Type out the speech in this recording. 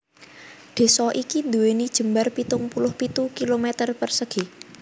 Désa iki nduwèni jembar pitung puluh pitu kilometer persegi